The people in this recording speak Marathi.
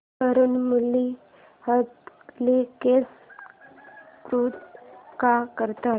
तरुण मुली हरतालिकेचं व्रत का करतात